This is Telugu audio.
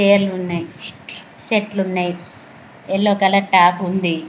ఏర్లున్నాయి చెట్లున్నాయ్ యెల్లో కలర్ ట్యాప్ ఉంది.